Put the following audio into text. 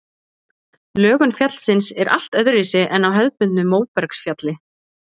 Lögun fjallsins er allt öðruvísi en á hefðbundnu móbergsfjalli.